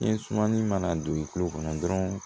Ni sumani mana don i kulo kɔnɔ dɔrɔn